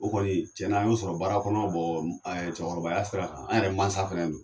O kɔni cɛn na , an y'o sɔrɔ baara kɔnɔ , cɛkɔrɔbaya sira kan an yɛrɛ mansa fana don.